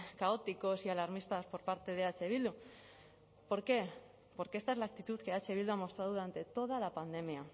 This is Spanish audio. caóticos y alarmistas por parte de eh bildu por qué porque esta es la actitud que eh bildu ha mostrado durante toda la pandemia